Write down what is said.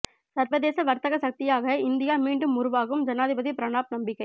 சர்வதேச வர்த்தக சக்தியாக இந்தியா மீண்டும்உருவாகும் ஜனாதிபதி பிரணாப் நம்பிக்கை